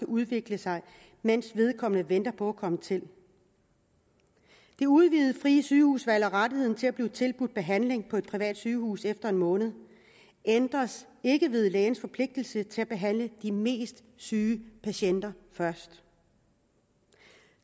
udvikle sig mens vedkommende venter på at komme til det udvidede frie sygehusvalg og rettigheden til at blive tilbudt behandling på et privat sygehus efter en måned ændres ikke ved lægens forpligtelse til at behandle de mest syge patienter først